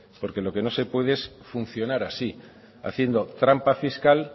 porque lo que no se puede es funcionar así haciendo trampa fiscal